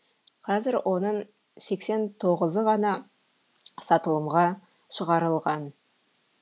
қазір оның сексен тоғызы ғана сатылымға шығарылған